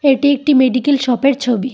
এটি একটি মেডিকেল শপের ছবি।